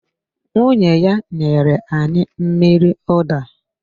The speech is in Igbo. Nwunye ya nyere anyị mmiri ụda